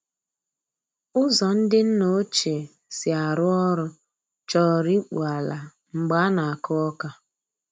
Ụzọ ndị nna ochie si arụ ọrụ chọrọ ịkpụ ala mgbe a na-akụ ọka.